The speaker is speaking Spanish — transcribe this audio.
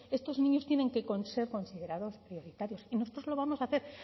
estos niños tienen que ser considerados prioritarios y nosotros lo vamos a hacer